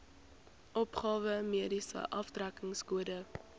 opgawe mediese aftrekkingskode